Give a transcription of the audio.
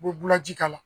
U bɛ bula ji k'a la